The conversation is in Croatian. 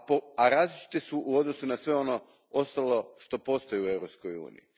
A različite su u odnosu na sve ono ostalo što postoji u Europskoj uniji.